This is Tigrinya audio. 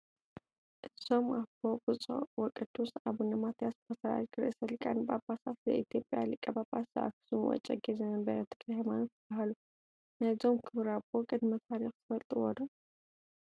እዞም ኣቦ ብፁዕ ወቅዱስ አቡነ ማትያስ ፓትርያርክ ርእሰ ሊቃነ ጳጳሳት ዘኢትዮጵያ ሊቀጳጳስ ዘአክሱም ወእጨጌ ዘመንበረ ተክለሃይማኖት ይበሃሉ፡፡ ናይዞም ክቡር ኣቦ ቅድመ ታሪክ ትፈልጡዎ ዶ?